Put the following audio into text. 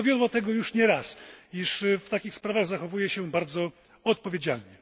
Dowiodła już tego nie raz, że w takich sprawach zachowuje się bardzo odpowiedzialnie.